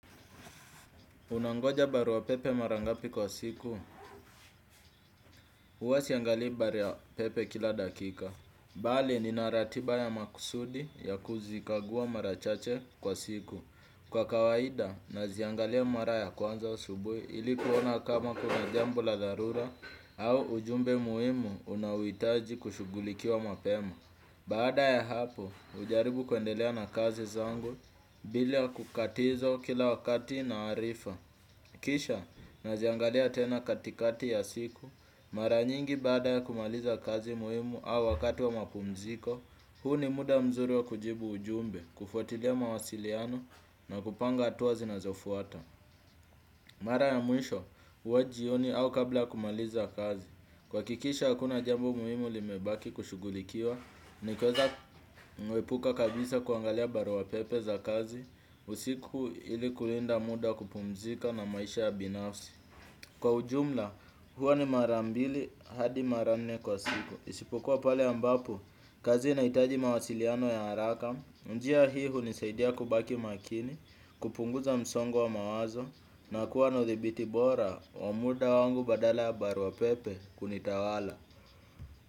Unangoja barua pepe mara ngapi kwa siku, uwa siangali baria pepe kila dakika. Bali, nina ratiba ya makusudi ya kuzikagua mara chache kwa siku. Kwa kawaida, naziangalia mara ya kwanza asubui ili kuona kama kuna jambo la dharura au ujumbe muimu unaowitaji kushughulikiwa mapema. Baada ya hapo, hujaribu kuendelea na kazi zangu, bila kukatizo kila wakati na arifa. Kisha naziangalia tena katikati ya siku, mara nyingi baada ya kumaliza kazi muhimu au wakati wa mapumziko, huu ni muda mzuri wa kujibu ujumbe, kufuatilia mawasiliano na kupanga atua zinazofuata. Mara ya mwisho, uwa jioni au kabla ya kumaliza kazi. Kuhakikisha hakuna jambo muhimu limebaki kushughulikiwa, nikoza mi uepuka kabisa kuangalia barua pepe za kazi, usiku ili kulinda muda wa kupumzika na maisha ya binafsi. Kwa ujumla huwa ni mara mbili hadi mara nne kwa siku isipokuwa pale ambapo kazi inahitaji mawasil ya haraka. Njia hii hunisaidia kubaki makini, kupunguza msongo wa mawazo, na kuwa na dhibiti bora wa muda wangu badala ya barua pepe kunitawala.